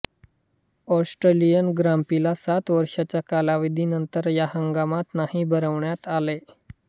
Austrian ग्रांप्रीला सात वर्षांच्या कालावधी नंतर या हंगामात नाही भरवण्यात आले